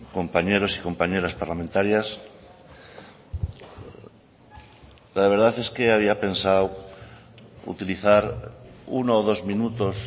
compañeros y compañeras parlamentarias la verdad es que había pensado utilizar uno o dos minutos